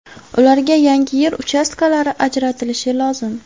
Ularga yangi yer uchastkalari ajratilishi lozim.